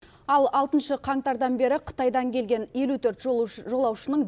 ал алтыншы қаңтардан бері қытайдан келген елу төрт жолаушының